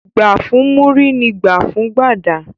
Gbà fún Múrí ni gbà fún Gbàdà.